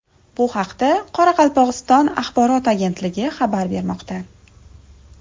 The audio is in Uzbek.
Bu haqda Qoraqalpog‘iston axborot agentligi xabar bermoqda .